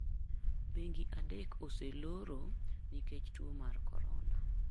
Bengi adek oseloro nikech tuo mar Corona.